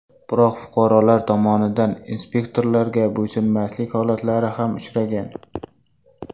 Biroq, fuqarolar tomonidan inspektorlarga bo‘ysunmaslik holatlari ham uchragan.